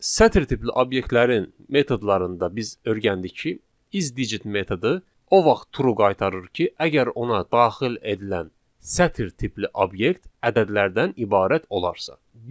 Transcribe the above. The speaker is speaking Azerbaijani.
Sətir tipli obyektlərin metodlarında biz öyrəndik ki, isdigit metodu o vaxt true qaytarır ki, əgər ona daxil edilən sətir tipli obyekt ədədlərdən ibarət olarsa.